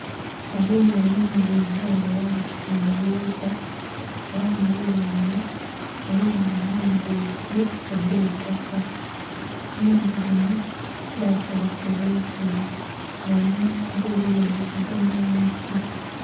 Oluuya olunhiluvu nga era lusaghibwa era muluya lunho mulimu enhumba ebili edheitaka. Enhumba dhinho dhaselekebwa isubi nga einhuma ghadho eliyo ebigogo nhe miti